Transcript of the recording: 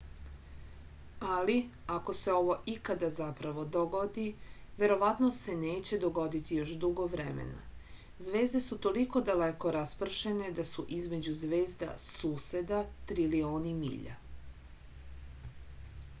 ali ako se ovo ikada zapravo dogodi verovatno se neće dogoditi još dugo vremena zvezde su toliko daleko raspršene da su između zvezda suseda trilioni milja